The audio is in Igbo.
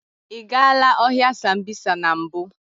Ị gaala ọhịa Sambisa na mbụ?